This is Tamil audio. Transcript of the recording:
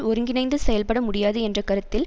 ஒருங்கிணைந்து செயல்பட முடியாது என்ற கருத்தில்